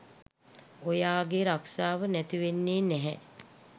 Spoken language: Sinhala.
ඔයාගේ රක්ෂාව නැතිවෙන්නේ නැහැ